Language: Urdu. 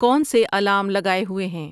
کون سے الارم لگائے ہوئے ہیں؟